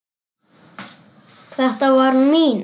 Þetta var mín.